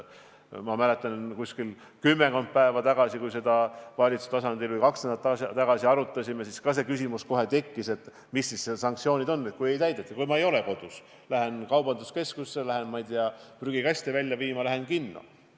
Ma mäletan, kui me kümmekond päeva või kaks nädalat tagasi valitsuse tasandil arutasime, tekkis samuti kohe küsimus, et mis need sanktsioonid on, kui nõudeid ei täideta, näiteks ma ei ole kodus, lähen kaubanduskeskusesse, lähen prügikasti välja viima, lähen kinno.